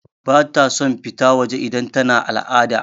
Bata son fita waje idan tana al'ada.